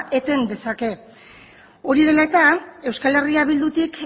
eten dezake hori dela eta eh bildutik